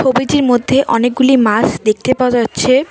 ছবিটির মধ্যে অনেকগুলি মাছ দেখতে পাওয়া যাচ্ছে।